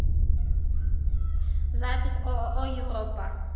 запись ооо европа